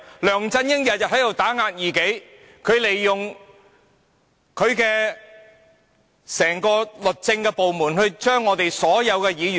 梁振英每天都在打壓異己，利用整個律政部門去逐一 DQ 所有議員。